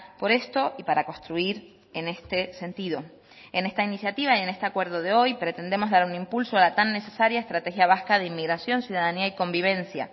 por esto y para construir en este sentido en esta iniciativa y en este acuerdo de hoy pretendemos dar un impulso a la tan necesaria estrategia vasca de inmigración ciudadanía y convivencia